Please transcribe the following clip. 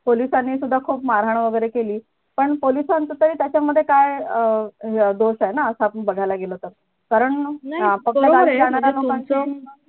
पोलिसांनी सुद्धा खूप मारहाण वैगरे केली पण पोलिसांचं तरी त्याच्यामध्ये काय अं आहे ना असं अपान बघायला गेलो तर कारण